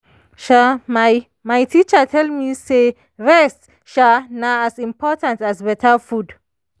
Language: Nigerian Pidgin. um my my teacher tell me say rest um na as important as beta food.